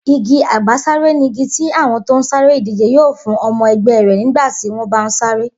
Igi àgbàsáré nigi tí àwo̩n tó ń sáré ìdíje yóò fún o̩mo̩ e̩gbé̩ rè̩ nígbà tí wón bá ń sáré